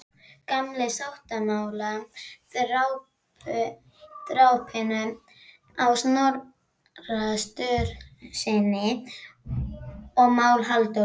Gamla sáttmála, drápinu á Snorra Sturlusyni og mála Halldórs